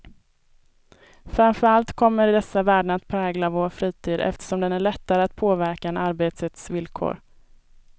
Framför allt kommer dessa värden att prägla vår fritid, eftersom den är lättare att påverka än arbetets villkor.